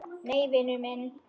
Nei, vinur minn.